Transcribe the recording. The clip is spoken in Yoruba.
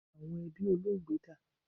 Awọn ẹbi Olóògbé da?